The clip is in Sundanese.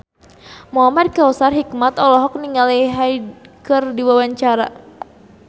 Muhamad Kautsar Hikmat olohok ningali Hyde keur diwawancara